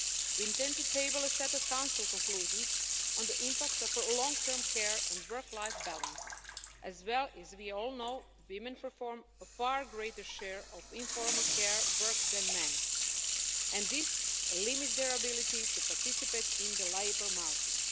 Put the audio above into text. We intend to table a set of Council conclusions on the impact of long term care on work life balance, as we all know women perform a far greater share of informal care work than men and this limits their ability to participate in the labour market.